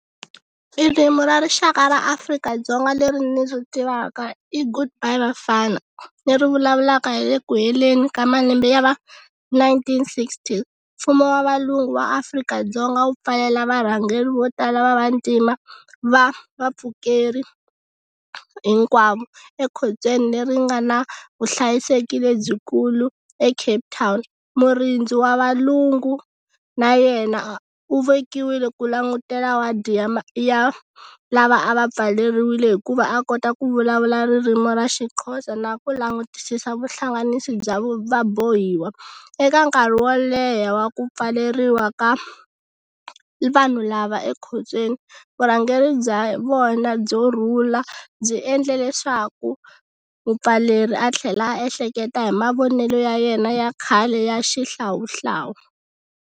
Ririmi ra rixaka ra Afrika-Dzonga leri ni ri tivaka i Good Bye vafana. Leri vulavulaka hi le ku heleni ka malembe ya va nineteen sixteen. Mfumo wa valungu wa Afrika-Dzonga wu pfalela varhangeri vo tala va vantima va vapfukeri hinkwavo, ekhotsweni leri nga na vuhlayiseki lebyikulu eCapetown. Murindzi wa valungu na yena u vekiwile ku langutela wadi ya ya lava a va pfaleriwile, hikuva a kota ku vulavula ririmi ra xiXhosa na ku langutisisa vuhlanganisi bya va bohiwa. Eka nkarhi wo leha wa ku pfaleriwa ka vanhu lava ekhotsweni vurhangeri bya vona byo rhula byi endle leswaku mupfaleri a tlhela a ehleketa hi mavonelo ya yena ya khale ya xihlawuhlawu.